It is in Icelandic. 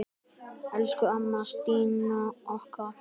Elsku amma Stína okkar.